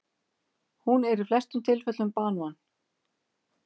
Hún er í flestum tilfellum banvæn.